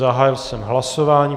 Zahájil jsem hlasování.